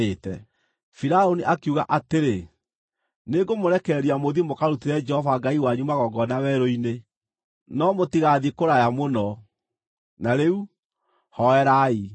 Firaũni akiuga atĩrĩ, “Nĩngũmũrekereria mũthiĩ mũkarutĩre Jehova Ngai wanyu magongona werũ-inĩ, no mũtigathiĩ kũraya mũno. Na rĩu, hooerai.”